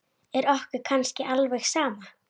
Er okkur kannski alveg sama?